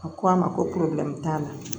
A ko a ma ko t'a la